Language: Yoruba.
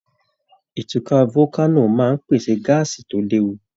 Ìtúká volcano máa pèsè gáásì tó léwu.